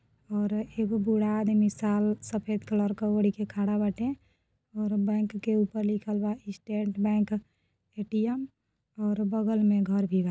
और एगो बुढा आदमी साल सफ़ेद कलर का ओढ्के खड़ा बाटे और बैंक के ऊपर लिख बा स्टेट बैंक ए.टी.एम और बगल में घर भी बा।